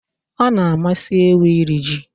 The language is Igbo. Ọ na-amasị ewu iri ji